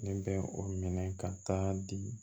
Ne bɛ o minɛ ka taa di